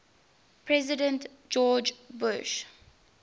president george bush